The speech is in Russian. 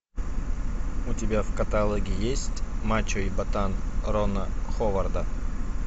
у тебя в каталоге есть мачо и ботан рона ховарда